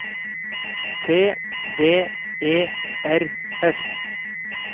T V E R S